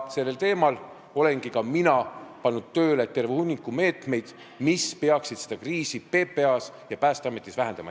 Sellel teemal olen ka mina võtnud terve hunniku meetmeid, mis peaksid seda kriisi PPA-s ja Päästeametis vähendama.